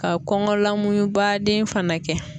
Ka kɔnkɔ lamuyuba den fɛnɛ kɛ